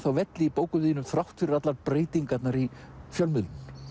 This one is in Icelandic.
velli í bókum þínum þrátt fyrir allar breytingarnar í fjölmiðlun